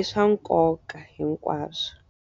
i swa nkoka hinkwaswo.